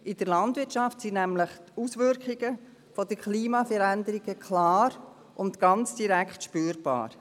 In der Landwirtschaft sind die Auswirkungen der Klimaveränderung klar und ganz direkt spürbar.